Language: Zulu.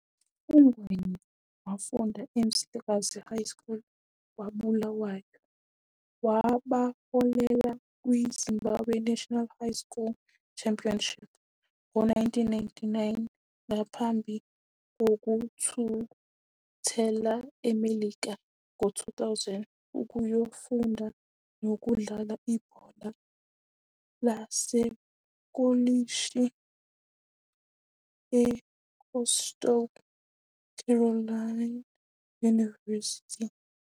UNgwenya wafunda eMzilikazi High School kwaBulawayo, wabaholela kwi-Zimbabwe National High School Championship ngo-1999, ngaphambi kokuthuthela eMelika ngo-2000 ukuyofunda nokudlala ibhola lasekolishi eCoastal Carolina University.